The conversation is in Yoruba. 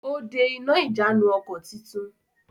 Ó de iná ìjánu-ọkọ̀ tuntun.